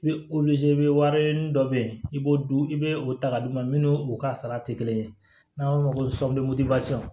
I bɛ i bɛ wari ɲini dɔ bɛ yen i b'o dun i bɛ o ta ka d'u ma minnu ka sara tɛ kelen ye n'an b'a f'o ma ko